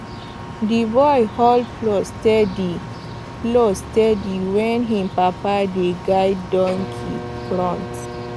the boy hold plow steady plow steady while him papa dey guide donkey front